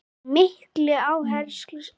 Með mikilli áherslu sagt.